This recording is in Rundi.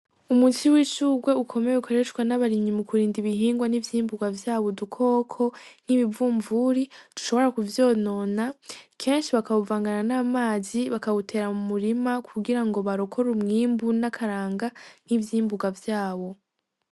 Umuti w'ishugwe ukomeye ukoreshwa n'abarimyi mukurinda ibihingwa n'ivyimbugwa vyabo udukoko n'ibivumvuri dushibora kuvyonona, kenshi bakawuvangana n'amazi bakawutera mumurima. Kugirango barokore umwimbu n'akaranga kivy'imbugwa vyabo.